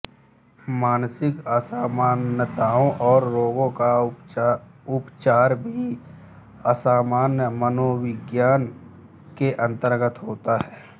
मानसिक असामान्यताओं और रोगों का उपचार भी असामान्य मनोविज्ञान के अंतर्गत होता है